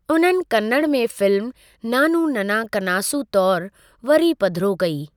उन्हनि कन्नड़ में फिल्म नानु नन्ना कनासु तौरु वरी पधिरो कई।